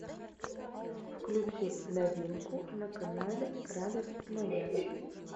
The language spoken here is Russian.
включи новинку на канале радость моя